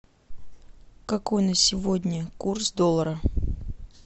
какой на сегодня курс доллара